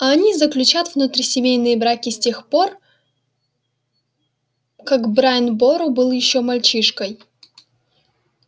а они заключат внутрисемейные браки с тех пор как брайан бору был ещё мальчишкой